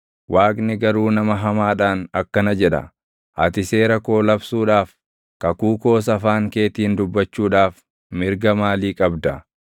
Waaqni garuu nama hamaadhaan akkana jedha: “Ati seera koo labsuudhaaf, kakuu koos afaan keetiin dubbachuudhaaf // mirga maalii qabda?